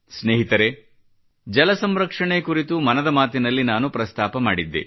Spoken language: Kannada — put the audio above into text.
ಸ್ನೇಹಿತರೆ ಜಲಸಂರಕ್ಷಣೆ ಕುರಿತು ಮನದ ಮಾತಿನಲ್ಲಿ ನಾನು ಪ್ರಸ್ತಾಪ ಮಾಡಿದ್ದೆ